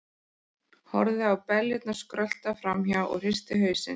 Horfði á beljurnar skrölta fram hjá og hristi hausinn.